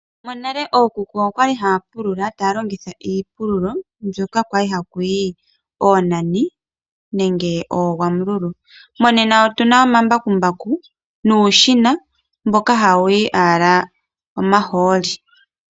Monale ookuku okwali haa pulula taa longitha iipulululo mbyoka kwali hakuti oonani nenge oogwamululu mongashingeyi otuna omambakumbaku nuushina mboka hawuyi owala omahooli.